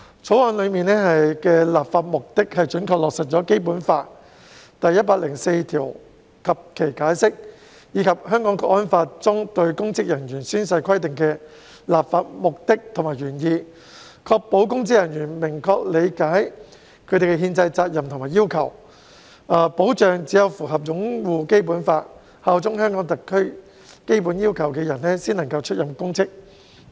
《條例草案》的立法目的是準確落實《基本法》第一百零四條及《解釋》，以及《香港國安法》中公職人員宣誓規定的立法目的和原意，確保公職人員明確理解他們的憲制責任和要求，以及只有符合"擁護《基本法》、效忠香港特區"這項基本要求的人才能出任公職。